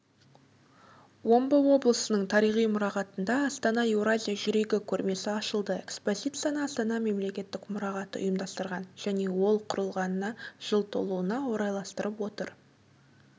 омбы облысының тарихи мұрағатында астана еуразия жүрегі көрмесі ашылды экспозицияны астана мемлекеттік мұрағаты ұйымдастырған және ол құрылғанына жыл толуына орайластырылып отыр